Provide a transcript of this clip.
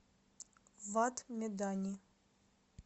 вад медани